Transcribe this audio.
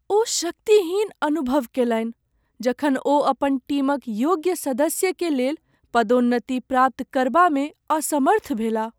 ओ शक्तिहीन अनुभव केलनि जखन ओ अपन टीम क योग्य सदस्य के लेल पदोन्नति प्राप्त करबामे असमर्थ भेलाह ।